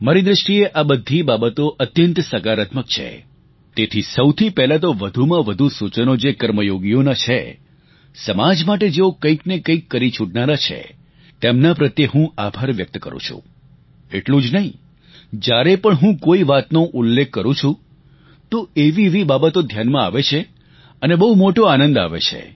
મારી દૃષ્ટિએ આ બધી બાબતો અત્યંત સકારાત્મક છે તેથી સૌથી પહેલાં તો વધુમાં વધુ સૂચનો જે કર્મયોગીઓનાં છે સમાજ માટે જેઓ કંઈક ને કંઈક કરી છૂટનારા છે તેમના પ્રત્યે હું આભાર વ્યક્ત કરું છું એટલું જ નહીં જ્યારે પણ હું કોઈ વાતનો ઉલ્લેખ કરું છું તો એવી એવી બાબતો ધ્યાનમાં આવે છે અને બહુ મોટો આનંદ આવે છે